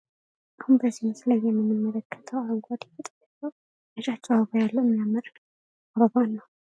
አሁን በዚህ ምስል ላይ የምንመለከተው አረንጓዴ ቅጠል እና ነጫጭ አበባ ያለው በጣም የሚያምር አበባን ነው።